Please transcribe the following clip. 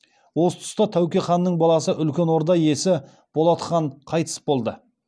осы тұста тәуке ханның баласы үлкен орда иесі болат хан қайтыс болды